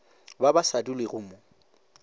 ba ba sa dulego mo